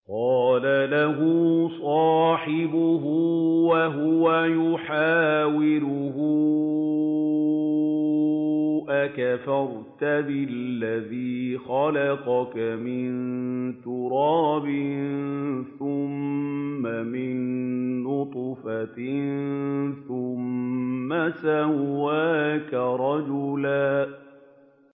قَالَ لَهُ صَاحِبُهُ وَهُوَ يُحَاوِرُهُ أَكَفَرْتَ بِالَّذِي خَلَقَكَ مِن تُرَابٍ ثُمَّ مِن نُّطْفَةٍ ثُمَّ سَوَّاكَ رَجُلًا